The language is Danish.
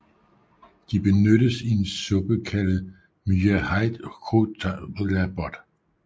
De benyttes i en suppe kaldet myahait hcaut tar la bot